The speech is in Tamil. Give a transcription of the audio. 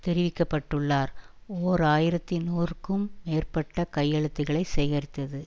தெரிவிக்கப்பட்டுள்ளார் ஓர் ஆயிரத்தி நூறுக்கும் மேற்பட்ட கையெழுத்துக்களை சேகரித்தது